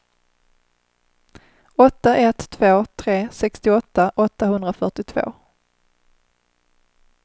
åtta ett två tre sextioåtta åttahundrafyrtiotvå